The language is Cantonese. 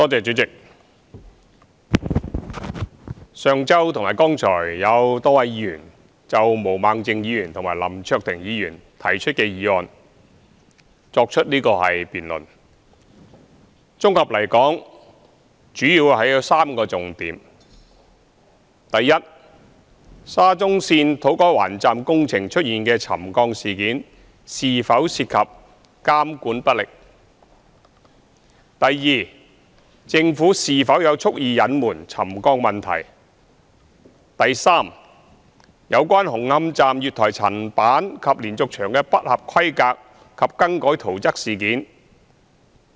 代理主席，上周和剛才有多位議員就毛孟靜議員和林卓廷議員提出的議案進行辯論，綜合來說主要有3個重點：一沙中線土瓜灣站工程出現沉降事件是否涉及監管不力；二政府是否有蓄意隱瞞沉降問題；及三有關紅磡站月台層板及連續牆不合規格及更改圖則事件。